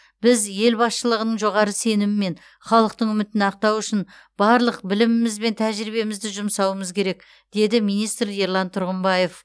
біз ел басшылығының жоғары сенімі мен халықтың үмітін ақтау үшін барлық біліміміз бен тәжірибемізді жұмсауымыз керек деді министр ерлан тұрғымбаев